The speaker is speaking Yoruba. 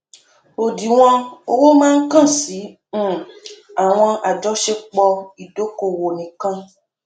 òdiwọn owó máa kàn sí um àwọn àjọṣepọ ìdókòòwò nìkan